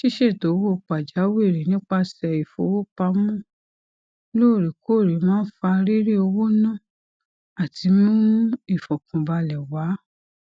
ṣíṣètò owó pàjáwìrì nípasẹ ìfowópamọ loorekoore máa n fa riri owo na àti mimu ìfọkànbalẹ wá